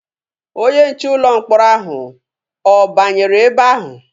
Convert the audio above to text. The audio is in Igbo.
Onye nche ụlọ mkpọrọ ahụ ọ banyere ebe ahụ?